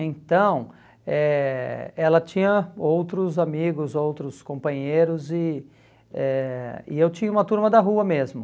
Então, eh ela tinha outros amigos, outros companheiros e eh e eu tinha uma turma da rua mesmo.